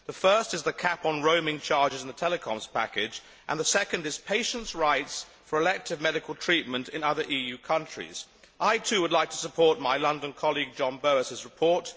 The first is the cap on roaming charges in the Telecoms Package, and the second is patients' rights for elective medical treatment in other EU countries. I, too, would like to support my London colleague John Bowis's report.